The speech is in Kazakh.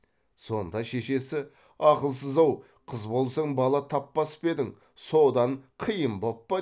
сонда шешесі ақылсыз ау қыз болсаң бала таппас па едің содан қиын боп па